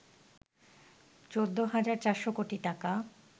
১৪ হাজার ৪০০ কোটি টাকা